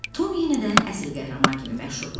Tom yenə də əsil qəhrəman kimi məşhurlaşdı.